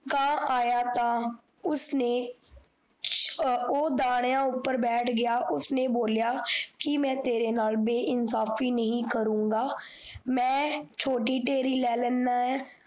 ਕਾਂ ਆਇਆ ਤਾਂ ਉਸਨੇ ਉਹ ਦਾਣਿਆਂ ਉਪਰ ਬੈਠ ਗਿਆ ਉਸਨੇ ਬੋਆਂ ਮਈ ਤੇਰੇ ਨਾਲ ਬੇਇਨਸਾਫ਼ੀ ਨਹੀਂ ਕਰੂਗਾ ਮਈ ਛੋਟੀ ਢੇਰੀ ਲਈ ਲੈਣਾ